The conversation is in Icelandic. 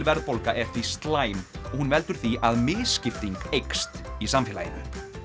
verðbólga er því slæm hún veldur því að misskipting eykst í samfélaginu